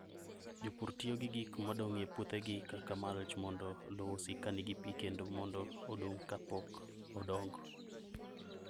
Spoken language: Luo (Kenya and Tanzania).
Jopur tiyo gi gik modong' e puothegi kaka mulch mondo lowo osiki ka nigi pi kendo mondo odong' ka pok odongo.